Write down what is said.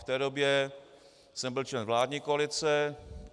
V té době jsem byl člen vládní koalice.